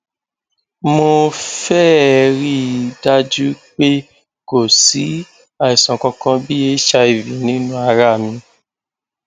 mo féé rí i dájú pé kò sí àìsàn kankan bí hiv nínú ara mi